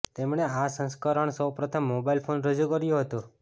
તેમણે આ સંસ્કરણ સૌપ્રથમ મોબાઈલ ફોન રજૂ કર્યું હતું